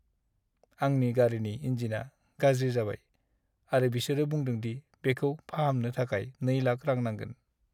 आंनि गारिनि इन्जिनआ गाज्रि जाबाय आरो बिसोरो बुंदों दि बेखौ फाहामनो थाखाय 2 लाख रां नांगोन।